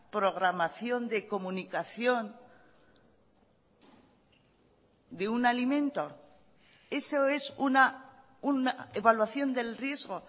programación de comunicación de un alimento eso es una evaluación del riesgo